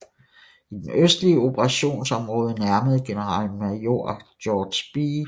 I det østlige operationsområde nærmede generalmajor George B